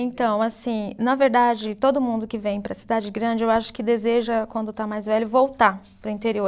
Então, assim, na verdade, todo mundo que vem para a cidade grande, eu acho que deseja, quando está mais velho, voltar para o interior.